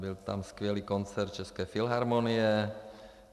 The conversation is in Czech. Byl tam skvělý koncert České filharmonie.